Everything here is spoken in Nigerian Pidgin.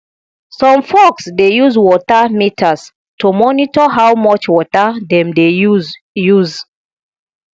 some folks dey use water meters to monitor how much water dem dey use use